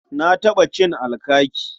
Na taɓa cin alkaki.